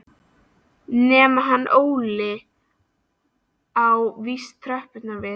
Nema hann Óli á víst tröppurnar við